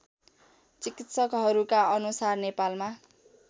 चिकित्सकहरूका अनुसार नेपालमा